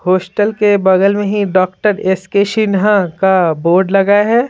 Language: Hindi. हॉस्टल के बगल में ही डॉक्टर एस के शिनहा का बोर्ड लगा है।